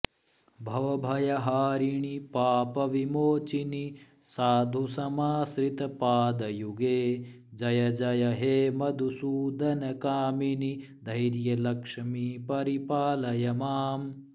भवभयहारिणि पापविमोचिनि साधुसमाश्रितपादयुगे जय जय हे मधुसूदनकामिनि धैर्यलक्ष्मि परिपालय माम्